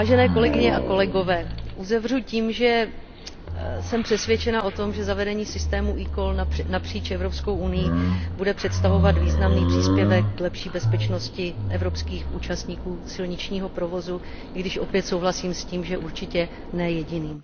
Kolegyně a kolegové, uzavřu tím, že jsem přesvědčena o tom, že zavedení systému eCall napříč Evropskou unií bude představovat významný příspěvek k lepší bezpečnosti evropských účastníků silničního provozu, i když opět souhlasím s tím, že určitě ne jediný.